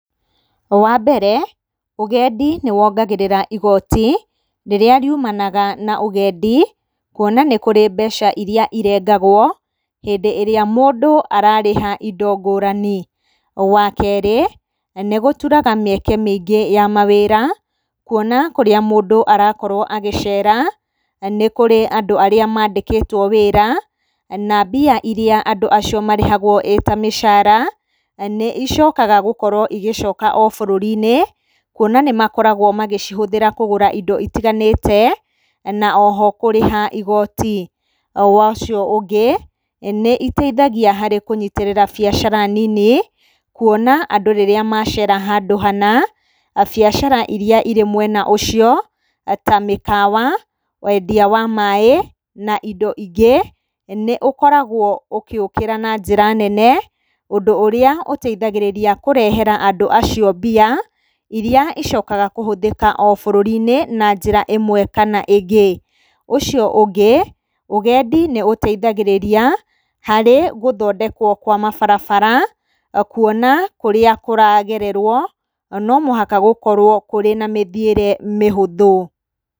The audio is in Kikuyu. Wambere, ũgendi nĩwongagĩrĩra igoti rĩrĩa rĩumanaga na ũgendi kuona nĩ kũrĩ mbeca iria irengagwo hĩndĩ ĩrĩa mũndũ ararĩha indo ngũrani. Wakerĩ, nĩgũturaga mĩeke mĩingĩ ya mawĩra, kuona kũrĩa mũndũ arakorwo agĩcera, nĩ kũrĩ andũ arĩa mandĩkĩtwo wĩra, na mbia iria andũ acio marĩhagwo ĩ ta mĩcara nĩicokaga gũkorwo igĩcoka o bũrũrĩ-inĩ, kuona nĩmakoragwo magĩcihũthĩra kũgũra indo itiganĩte na oho kũrĩha igoti. Wa ũcio ũngĩ, nĩiteithagia harĩ kũnyitĩrĩra biacara nini, kuona andũ rĩrĩa macera handũ hana, biacara iria irĩ mwena ũcio, ta mĩkawa, wendia wa maĩ na indo ingĩ nĩũkoragwo ũgĩũkĩra na njĩra nene, ũndũ ũrĩa ũteithagĩrĩria kũrehera andũ acio mbia iria icokaga kũhũthĩka o bũrũri-inĩ na njĩra ĩmwe kana ĩngĩ. Ũcio ũngĩ, ũgendi nĩũteithagĩrĩria harĩ gũthondekwo kwa mabarabara kuona kũrĩa kũragererwo no mũhaka gũkorwo kũrĩ na mĩthiĩre mĩhũthũ.